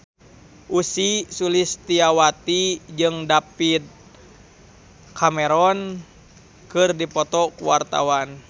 Ussy Sulistyawati jeung David Cameron keur dipoto ku wartawan